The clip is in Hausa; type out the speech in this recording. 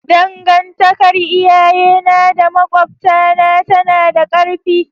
Dangantakar iyayena da makwabtana tana da ƙarfi.